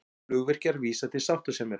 Flugvirkjar vísa til sáttasemjara